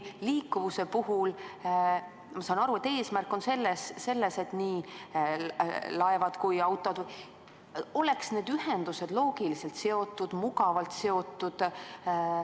Liikuvuse puhul, ma saan aru, on eesmärk see, et nii laevad kui autod, ühesõnaga, need ühendused oleks loogiliselt, mugavalt seotud.